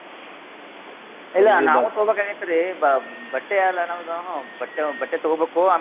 ಇಲ್ಲ ನಾವು ತೊಗೋಬೇಕಾಗೇತ್ರಿ ಬ~ ಬಟ್ಟೆಯಲ್ಲ ನಮ್ದು ಬಟ್ಟೆ ಬಟ್ಟೆ ತೊಗೋಬೇಕು.